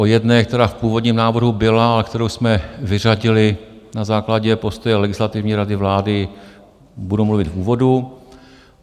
O jedné, která v původním návrhu byla a kterou jsme vyřadili na základě postoje Legislativní rady vlády, budu mluvit v úvodu.